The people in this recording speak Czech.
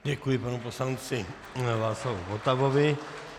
Děkuji panu poslanci Václavu Votavovi.